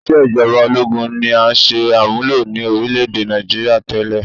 Ìṣe ìjọba ológun ni à ń ṣe àmúlò ní orílẹ̀-èdè Nigeria tẹ́lẹ̀